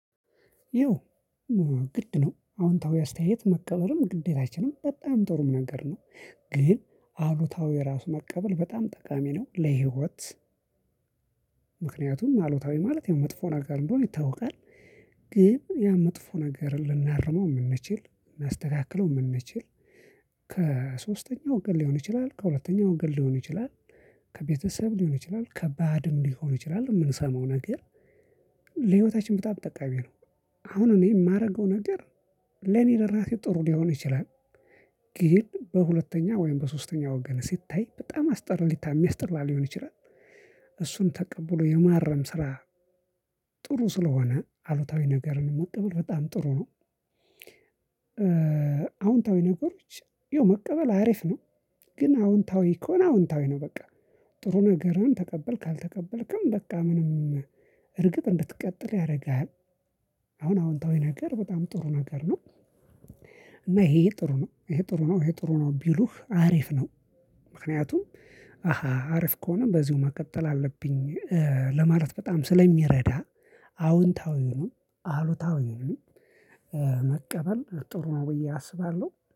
ይው ግድ ነው አዎንታዊ አስተያየት መቀበልም ግዴታችንም በጣም ጥሩም ነገር ነው። ግን አሉታዊ ራሱ መቀበል በጣም ጠቃሚ ነው ለሂወት። ምክንያቱም አሉታዊ ማለት ያው መጥፎ ነገር እንደሆነ ይታወቃል። ግን ያ መጥፎ ነገርን ልናርመው ምንችል ልናስተካክለው ምንችል። ከሶስተኛው ወገን ሊሆን ይችላል ከሁለተኛው ወገን ሊሆን ይችላል። ከቤተሰብ ሊሆን ይችላል ከባድም ሊሆን ይችላል ምንሰማው ነገር ለህይወታችን በጣም ጠቃሚ ነው። አሁን እኔ ማረገው ነገር። ለኔ ለራሴ ጥሩ ሊሆን ይችላል። ግን በሁለተኛ ወይም በሶስተኛ ወገን ሲታይ በጣም አስጠሪታ ሚያስጠራ ሊሆን ይችላል። እሱን ተቀብሎ የማረም ስራ። ጥሩ ስለሆነ አሉታዊ ነገርን መቀበል በጣም ጥሩ ነው። አዎንታዊ ነገሮች የው መቀበል አሪፍ ነው። ግን አዎንታዊ ከሆነ ነው አዎንታዊ ነው በቃ ጥሩ ነገርህን ተቀበልክ አልተቀበልክም በቃ ምንም እርግጥ እንድትቀጥል ያረግሃል። አሁን አዎንታዊ ነገር በጣም ጥሩ ነገር ነው። እና እሄ እሄ ጥሩ ነው አሄ ጥሩ ነው እሄ ጥሩ ነው ቢሉህ አሪፍ ነው። ምክንያቱም አሃ አሪፍ ከሆነ በዚሁ መቀጠል አለብኝ ለማለት በጣም ስለሚረዳ። አዎንታዊውንም አሉታዊውንም መቀበል ጥሩ ነው ብዬ አስባለሁ